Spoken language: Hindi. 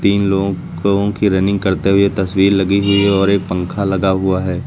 इन लोगों की रनिंग करते हुए तस्वीर लगी हुई है और एक पंखा लगा हुआ है।